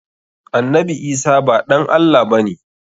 Annabi Isah ba ɗan Allah ba ne.